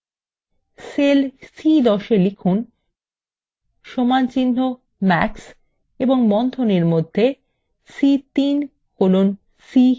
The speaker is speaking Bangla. cell c10 এ লিখুন সমানচিহ্ন max এবং বন্ধনীর মধ্যে c3 colon c7